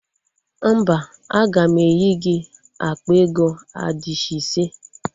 Mba, aga m enye gị akpa ego adishị ise